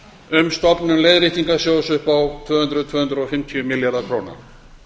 um stofnun leiðréttingarsjóðs upp á tvö hundruð til tvö hundruð og fimmtíu milljarða króna